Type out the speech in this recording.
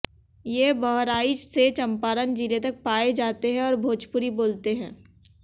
ये बहराइच से चंपारण जिले तक पाए जाते हैं और भोजपुरी बोलते हैं